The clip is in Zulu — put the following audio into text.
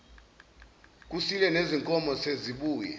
kusile nezinkomo sezibuye